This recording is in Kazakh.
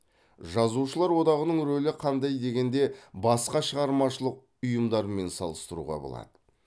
жазушылар одағының рөлі қандай дегенде басқа шығармашылық ұйымдармен салыстыруға болады